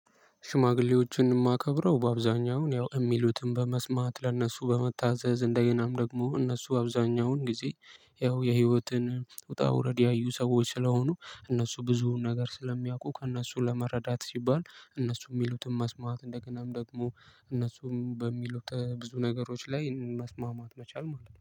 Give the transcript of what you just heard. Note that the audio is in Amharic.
ሽማግሌዎችን እማከብረው በአብዛኛውን ያው እሚሉትን በመስማት ለእነሱ በመታዘዝ እንደገናም ደግሞ እነሱ አብዛኛውን ጊዜ ያው የህይወትን ውጣ ውረድ ያዩ ሰዎች ስለሆኑ እነሱ ብዙውን ነገር ስለሚያውቁ ከእነሱ ለመረዳት ሲባል እነሱ ሚሉትን መስማት እንደገናም ደግሞ እነሱም በሚሉት ብዙ ነገሮች ላይ መስማማት መቻል ማለት ነው